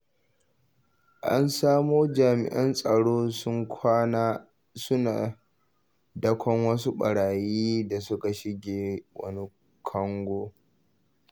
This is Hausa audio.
Na samo Jami'an tsaro sun kwana suna dakon wasu ɓarayi da suka shige wani kango.